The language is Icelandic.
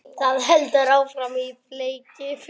Það heldur áfram á fleygiferð